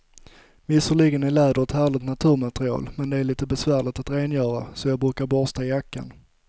Visserligen är läder ett härligt naturmaterial, men det är lite besvärligt att rengöra, så jag brukar borsta jackan.